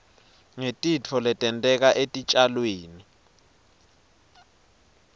ngetitfo letenteka etitjalweni